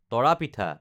তৰা পিঠা